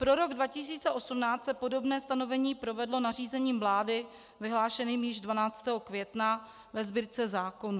Pro rok 2018 se podobné stanovení provedlo nařízením vlády vyhlášeným již 12. května ve Sbírce zákonů.